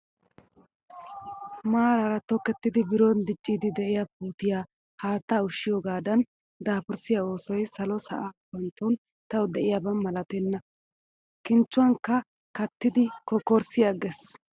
Maaraara tokettida biron dicciiddi diyaa puutiyaa haattaa ushshiyoogaadan dapurssiyaa oosoyi salo sa'a gupantton tawu diyaaba malatenna. kinchchuwankka kattidi kokkorssi agges.